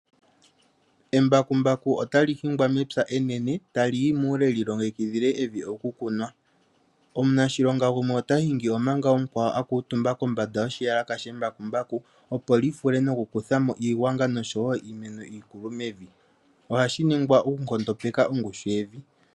Embakumbaku otali hingwa mepya enene, tali pulula muule opo lyi longikidhile evi okukunwa. Omanashilonga gumwe ota hingi omanga mukwao a kuutumba kombanga yoshiyalaka shembakumbaku opo lyi vule okufundula mo iigwangwa oshowo iimeno iikulu mevi. Shika ohashi ningwa nelalakano lyokunkondopeka ongushu yevi.